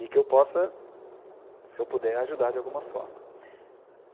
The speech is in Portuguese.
e que eu possa, se eu puder, ajudar de alguma forma.